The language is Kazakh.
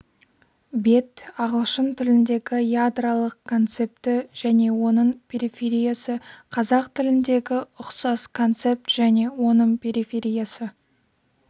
бет ағылшын тіліндегі ядролық концепті және оның перифериясы қазақ тіліндегі ұқсас концепт және оның перифериясы